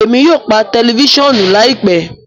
Emi yóò pa tẹlifisiọnu laipẹ